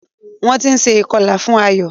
wón tí nṣe ikọla fún Ayo.